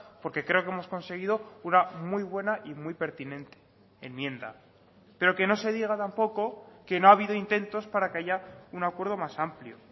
porque creo que hemos conseguido una muy buena y muy pertinente enmienda pero que no se diga tampoco que no ha habido intentos para que haya un acuerdo más amplio